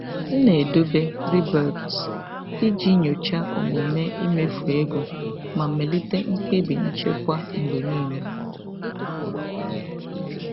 M na-edobe riboeipts iji nyochaa omume imefu ego ma melite mkpebi nchekwa mgbe niile.